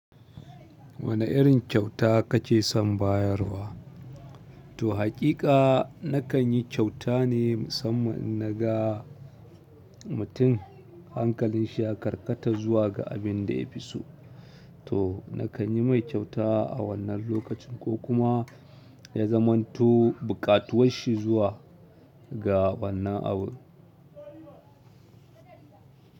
Wane irin kyauta kake son bayarwa? To haƙiƙa na kanyi kyauta ne musamman innaga mutum hankalin shi ya karkata zuwa ga abin da yafi so. To na kanyi mai kyauta a wannan lokacin ko kuma ya zamanto buƙatuwar shi zuwa ga wannan abu.